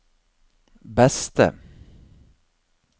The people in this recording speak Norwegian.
beste